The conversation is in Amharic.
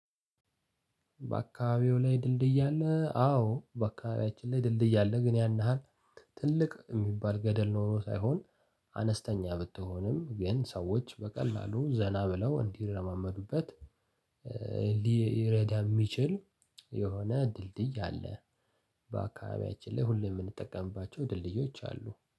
በአካባቢዎ ላይ ድልድይ አለ? አዎ በአካባቢያችን ላይ ድልድይ አለ። ግን ያን ያህል ትልቅ የሚባል ገደል ኖሮ ሳይሆን አነስተኛ ብትሆንም ግን ሰዎች በቀላሉ ዘና ብለው እንዲረማመዱበት። ሊረዳም የሚችል የሆነ ድልድይ አለ። በአካባቢያችን ላይ ሁሌ የምንጠቀምባቸው ድልድዮች አሉ